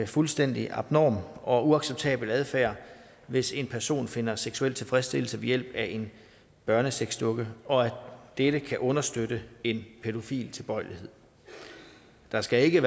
fuldstændig abnorm og uacceptabel adfærd hvis en person finder seksuel tilfredsstillelse ved hjælp af en børnesexdukke og at dette kan understøtte en pædofil tilbøjelighed der skal ikke